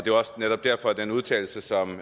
jo også netop derfor at den udtalelse som